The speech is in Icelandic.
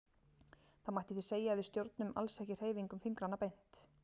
Það mætti því segja að við stjórnum alls ekki hreyfingum fingranna beint.